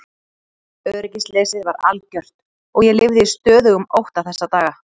Öryggisleysið var algjört og ég lifði í stöðugum ótta þessa daga.